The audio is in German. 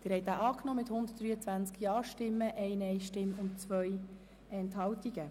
Sie haben diesen Kreditantrag angenommen mit 123 Ja-Stimmen gegen 1 Nein-Stimme bei 2 Enthaltungen.